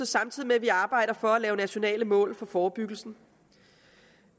samtidig med at vi arbejder for at lave nationale mål for forebyggelsen